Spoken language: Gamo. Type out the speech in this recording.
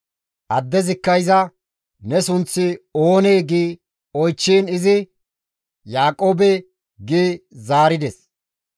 Addezikka iza, «Ne sunththi oonee?» gi oychchiin izi, «Yaaqoobe» gi zaarides.